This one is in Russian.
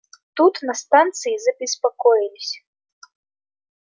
тут на станции забеспокоились